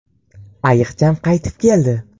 Ayiqcham qaytib keldi!